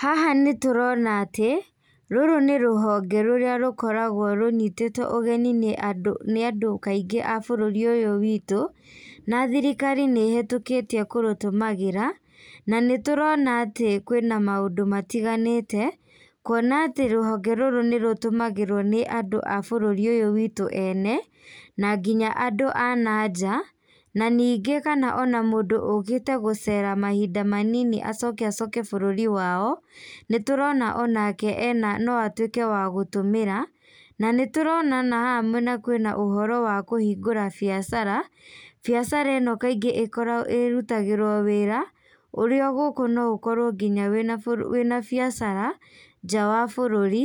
Haha nĩ tũrona atĩ, rũrũ nĩ rũhonge rũrĩa rũkoragwo rũnyitĩtwó ũgeni nĩ andũ kaingĩ a bũrũri ũyũ witũ, na thirikari nĩ ĩhetũkĩtie kũrũtũmagĩra. Na nĩ tũrona atĩ kwina maũndũ matiganĩte, kuona atĩ rũhonge rũrũ nĩ rũtũmagĩrwo nĩ andũ a bũrũri ũyũ wĩtũ ene, na nginya andũ ananja, na ningĩ kana mũndũ ũkĩte gũcera mahinda manini acoke acoke bũrũri wao. Nĩ tũrona onake ena, no atuĩke wa gũtũmĩra, na nĩ tũrona haha mwena kwĩna ũhoro wa kũhingũra biacara. Biacara ĩno kaingĩ ĩkoragwo, ĩrutagĩrwo wĩra, ũrĩ o gũkũ no ũkorwo wĩna biacara nja wa bũrũri,